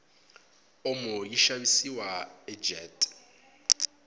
omo yishavisiwa ajet